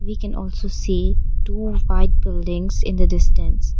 We can also see two white buildings in the distance.